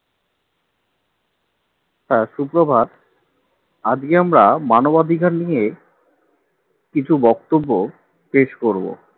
হ্যাঁ সুপ্রভাত আজকে আমরা মানবাধিকার নিয়ে কিছু বক্তব্য পেশ করব